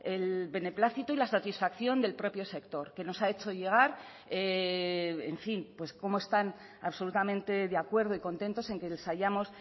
el beneplácito y la satisfacción del propio sector que nos ha hecho llegar en fin pues cómo están absolutamente de acuerdo y contentos en que les hayamos